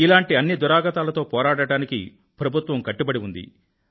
ఇలాంటి అన్ని దురాగతాలతో పోరాడడానికి ప్రభుత్వం కట్టుబడి ఉంది